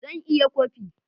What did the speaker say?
Zan iya kwafi